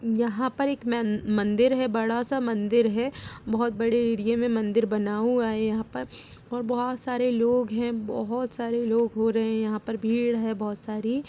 यहाँ पर एक मन मंदिर है बड़ा सा मंदिर है। बहुत बड़े एरिया में मंदिर बना हुआ है यहाँ पर और बहुत सारे लोग हैं। बहुत सारे लोग हो रहे हैं। यहाँ पर भीड़ बहुत सारी --